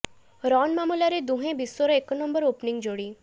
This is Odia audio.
ରନ୍ ମାମଲାରେ ଦୁହେଁ ବିଶ୍ୱର ଏକ ନମ୍ବର ଓପନିଂ ଯୋଡ଼ି